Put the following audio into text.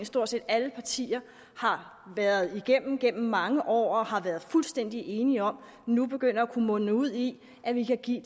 stort set alle partier i har været igennem gennem mange år og har været fuldstændig enige om nu begynder at munde ud i at vi kan give